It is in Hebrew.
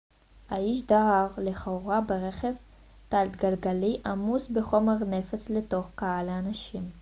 האיש דהר לכאורה ברכב תלת-גלגלי עמוס בחומר נפץ לתוך קהל אנשים